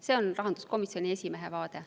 See on rahanduskomisjoni esimehe vaade.